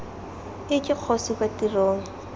ii ke kgosi kwa tirong